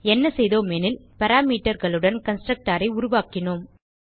என்ன செய்தோம் எனில் parameterகளுடன் constructorஐ உருவாக்கினோம்